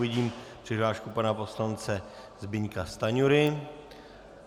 Vidím přihlášku pana poslance Zbyňka Stanjury.